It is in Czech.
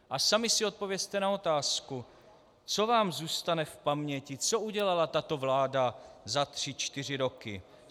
A sami si odpovězte na otázku, co vám zůstane v paměti, co udělala tato vláda za tři, čtyři roky.